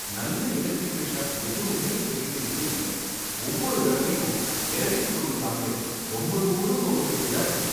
நல்ல electrical shop எதுவுமே எங்க வீட்டு கிட்ட இல்ல. ஒவ்வொரு தடவையும் எலக்ட்ரிக் பொருள் வாங்க ரொம்ப தூரம் போக வேண்டியதா இருக்கு.